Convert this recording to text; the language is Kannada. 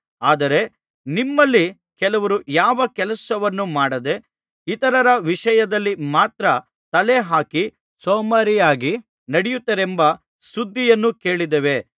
ಆದರೆ ನಿಮ್ಮಲ್ಲಿ ಕೆಲವರು ಯಾವ ಕೆಲಸವನ್ನೂ ಮಾಡದೆ ಇತರರ ವಿಷಯದಲ್ಲಿ ಮಾತ್ರ ತಲೆ ಹಾಕಿ ಸೋಮಾರಿಯಾಗಿ ನಡೆಯುತ್ತಾರೆಂಬ ಸುದ್ದಿಯನ್ನು ಕೇಳಿದ್ದೇವೆ